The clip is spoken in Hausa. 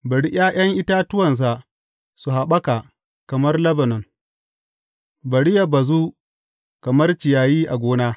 Bari ’ya’yan itatuwansa su haɓaka kamar Lebanon; bari yă bazu kamar ciyayi a gona.